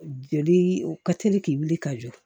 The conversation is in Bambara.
Joli u ka teli k'i wuli ka jɔ